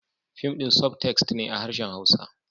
Fim din sub-text ne a harshen hausa